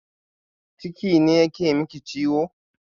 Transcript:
Ciki ne yake miki ciwo?